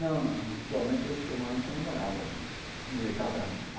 Não, não, atualmente eu estou morando com a namorada, casado, né.